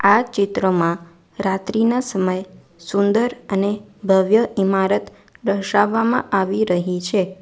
આ ચિત્રમાં રાત્રિના સમય સુંદર અને ભવ્ય ઈમારત દર્શાવવામાં આવી રહી છે.